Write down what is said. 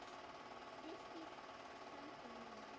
Þrýstir hönd mína.